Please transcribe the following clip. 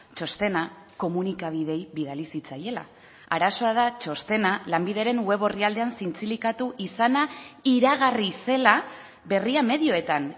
txostena komunikabideei bidali zitzaiela arazoa da txostena lanbideren web orrialdean zintzilikatu izana iragarri zela berria medioetan